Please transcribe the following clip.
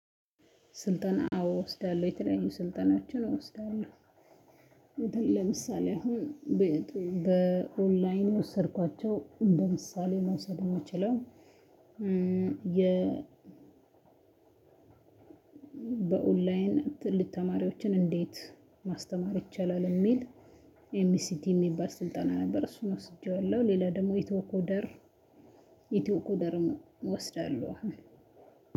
ስልጠና አዎ እወስዳለሁ የተለያዩ ስልጠናዎችን አወስዳለሁ። እንትን ለምሳሌ አሁን በኦንላይን የወሰድኳቸው በምሳሌ መውሰድ ምችለው የ በኦንላይን ትልቅ ተማሪዎችን እንዴት ማስተማር ይቻላል? እሚል ኤምቢሲቲ የሚባል ስልጠና ነበር። እሱን ወስጄዋለሁ ሌላ ደሞ ኢትዮ ኮደር ኢትዮ ኮደርም እወስዳለሁ አሁን።